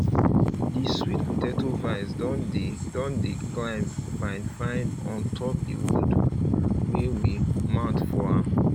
the sweet potato vines don dey don dey climb fine fine ontop the wood wey we mount fo am